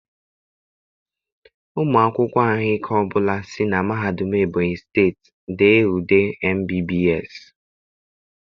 Ụmụ akwụkwọ ahụike ọ bụla si na Mahadum Ebonyi steeti dee ule MBBS.